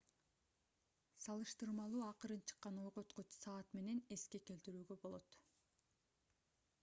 салыштырмалуу акырын чыккан ойготкуч саат менен эске келтирүүгө болот